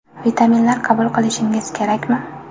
Vitaminlar qabul qilishingiz kerakmi?.